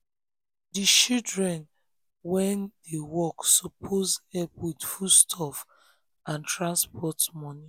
di um children wey um dey work suppose help with foodstuff and transport money.